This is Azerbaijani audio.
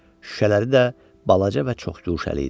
Şüşələri də balaca və çox yuxuşəli idi.